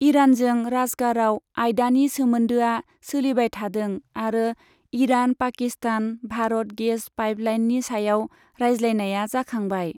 इरानजों राजगाराव आयदानि सोमोन्दोआ सोलिबाय थादों आरो इरान पाकिस्तान भारत गेस पाइपलाइननि सायाव रायज्लायनाया जाखांबाय।